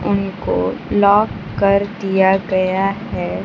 उनको लॉक कर दिया गया है।